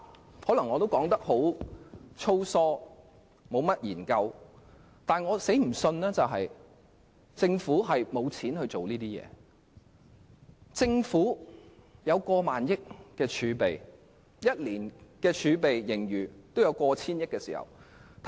我可能說得很粗疏，沒有甚麼研究，但我絕不相信政府沒錢做這些工作，因為政府擁有過萬億元儲備 ，1 年也有過千億元盈餘。